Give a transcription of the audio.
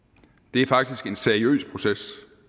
det er faktisk en seriøs proces